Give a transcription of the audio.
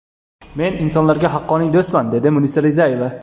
Men insonlarga haqiqiy do‘stman!” dedi Munisa Rizayeva.